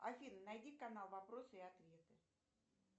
афина найди канал вопросы и ответы